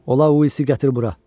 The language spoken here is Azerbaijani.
Ona Uisi gətir bura.